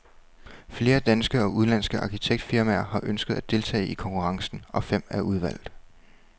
Flere danske og udenlandske arkitektfirmaer har ønsket at deltage i konkurrencen, og fem er udvalgt.